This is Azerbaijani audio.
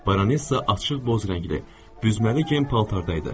Baronesa açıq boz rəngli, büzməli gen paltarda idi.